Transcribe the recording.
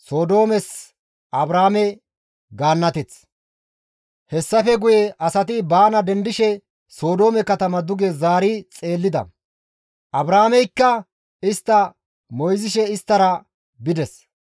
Hessafe guye asati baana dendishe Sodoome katama duge zaari xeellida; Abrahaameykka istta moyzishe isttara bides.